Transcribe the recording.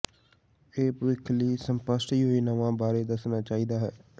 ਇਹ ਭਵਿੱਖ ਲਈ ਸਪੱਸ਼ਟ ਯੋਜਨਾਵਾਂ ਬਾਰੇ ਦੱਸਣਾ ਚਾਹੀਦਾ ਹੈ